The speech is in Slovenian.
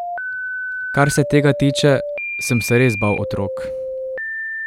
Kar se tega tiče, sem se res bal otrok.